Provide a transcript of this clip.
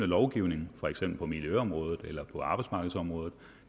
lovgivning for eksempel på miljøområdet eller på arbejdsmarkedsområdet